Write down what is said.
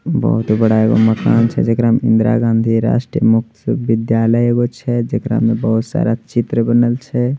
बहुत ही बड़ा मकान छै जेकरा में इंदिरा गांधी राष्ट्रीय मुक्त विद्यालय छै जेकारा में बहुत सारा चित्र बनल छै।